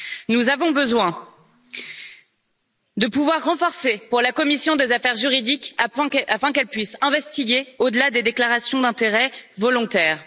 Nous avons besoin de pouvoirs renforcés pour la commission des affaires juridiques afin qu'elle puisse investiguer au delà des déclarations d'intérêts volontaires.